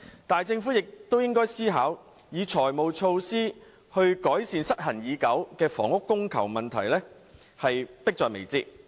但是，政府亦應考慮以財務措施改善失衡已久的房屋供求問題，此事迫在眉睫。